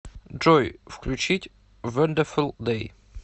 джой включить вондефул дэй